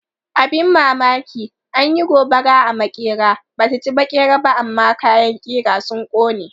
Abin mamaki, an yi gobara a maƙera, ba ta ci maƙeri ba amma kayan ƙira sun ƙone.